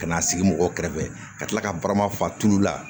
Ka n'a sigi mɔgɔw kɛrɛfɛ ka tila ka barama fa tulu la